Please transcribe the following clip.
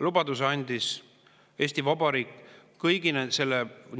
Lubaduse andis Eesti Vabariik ehk